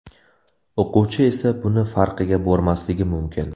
O‘quvchi esa buni farqiga bormasligi mumkin.